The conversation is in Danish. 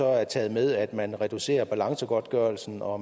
er taget med at man reducerer balancegodtgørelsen og